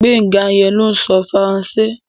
Gbénga yẹn ló ń sọ Faransé